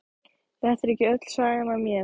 Þetta er ekki öll sagan af mér.